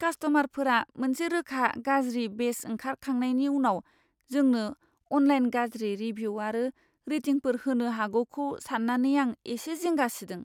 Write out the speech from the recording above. कास्ट'मारफोरा मोनसे रोखा गाज्रि बेच ओंखारखांनायनि उनाव जोंनो अनलाइन गाज्रि रिभिउ आरो रेटिंफोर होनो हागौखौ सान्नानै आं एसे जिंगा सिदों।